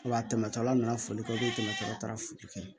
Wa a tɛmɛtɔla nana foli kan ko kɛmɛ tɔla taara foli kɛ